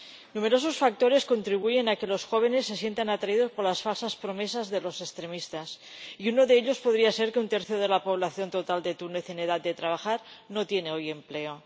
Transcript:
Numerosos factores contribuyen a que los jóvenes se sientan atraídos por las falsas promesas de los extremistas, y uno de ellos podría ser que un tercio de la población total de Túnez en edad de trabajar no tiene hoy empleo.